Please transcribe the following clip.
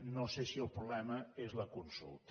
no sé si el problema és la consulta